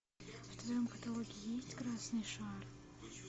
в твоем каталоге есть красный шар